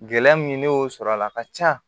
Gɛlɛya min ne y'o sɔrɔ a la a ka ca